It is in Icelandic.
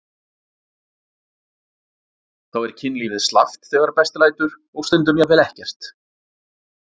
Þá er kynlífið slappt þegar best lætur og stundum jafnvel ekkert.